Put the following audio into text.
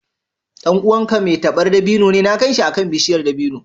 Ɗan uwanka mai tabar dabino ne? Na gan shi akan bishiyar dabino.